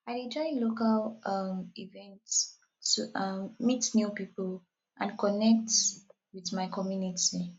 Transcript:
i dey join local um events to um meet new people and connect with my community